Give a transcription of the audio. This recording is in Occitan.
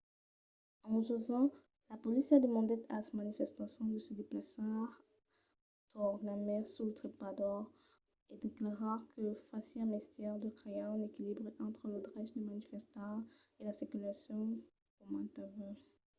a 11:20 la polícia demandèt als manifestants de se desplaçar tornarmai sul trepador en declarar que fasiá mestièr de crear un equilibri entre lo drech de manifestar e la circulacion qu'aumentava